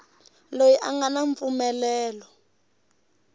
loyi a nga na mpfumelelo